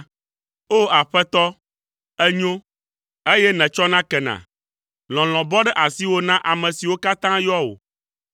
O! Aƒetɔ, ènyo, eye nètsɔna kena, lɔlɔ̃ bɔ ɖe asiwò na ame siwo katã yɔa wò.